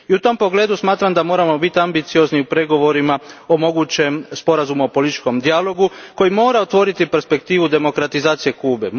I u tom pogledu smatram da moramo biti ambiciozni u pregovorima o mogućem sporazumu o političkom dijalogu koji mora otvoriti perspektivu demokratizacije Kube.